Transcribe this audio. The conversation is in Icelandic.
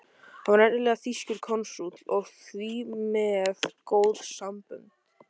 Hann var nefnilega þýskur konsúll og því með góð sambönd.